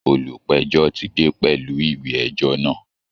Olùpẹ̀jọ́ ti dé pẹ̀lú ìwé ẹjọ́ náà